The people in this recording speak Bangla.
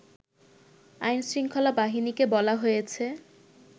আইনশৃঙ্খলা বাহিনীকে বলা হয়েছে